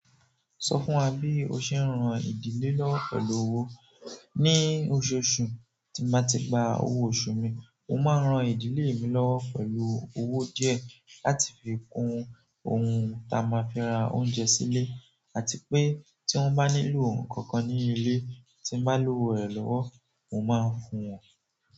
Sọ fún wa bí o ṣe ń ran ìdílé lọ́wo pẹ̀lú owó. Ni oṣooṣù, tí bá ti gba owó oṣù mi, mo máa ń ran ìdílé mi lọ́wo pẹ̀lú owó díẹ̀ láti fi kun ohun ta máa fi ra oúnjẹ sílé àti pé tí wọ́n bá nílò ohun kankan ní ilé tí bá lòwó rẹ̀ lọ́wọ́, mo máa ń fún wọn.